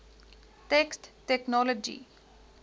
text technology ctext